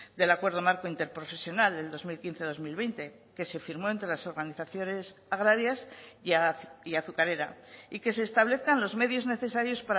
del acuerdo marco interprofesional del dos mil quince dos mil veinte que se firmó entre las organizaciones agrarias y azucarera y que se establezcan los medios necesarios